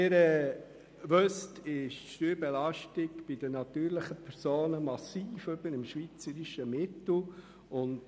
Die Steuerbelastung befindet sich bei den natürlichen Personen über dem schweizerischen Mittel.